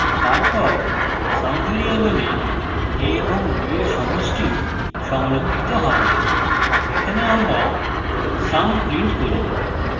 তারপর sum ভ্যারিয়েবলে a এবং b এর সমষ্টি সংরক্ষিত হবে এখানে আমরা sum print করি